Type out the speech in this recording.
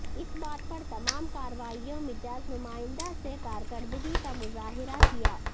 اس بات پر تمام کارروائیوں مجاز نمائندہ سے کارکردگی کا مظاہرہ کیا